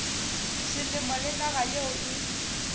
selemo le naga yeo e